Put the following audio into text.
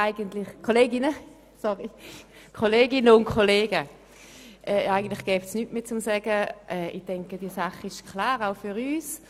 Eigentlich gäbe es nichts mehr zu sagen, die Sache ist wohl klar, auch für uns.